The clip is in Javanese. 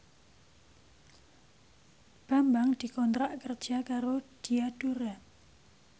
Bambang dikontrak kerja karo Diadora